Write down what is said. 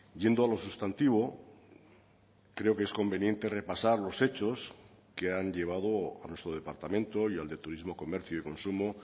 yendo a lo sustantivo creo que es conveniente repasar los hechos que han llevado a nuestro departamento y al de turismo comercio y consumo